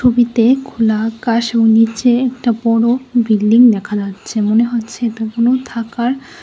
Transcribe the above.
ছবিতে খোলা আকাশ ও নীচে একটা বড়ো বিল্ডিং দেখা যাচ্ছে মনে হচ্ছে এটা কোনো থাকার--